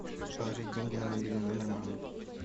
положить деньги на мобильный номер мамы